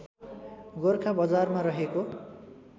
गोरखा बजारमा रहेको